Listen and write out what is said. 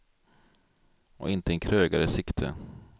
Och inte en krögare i sikte.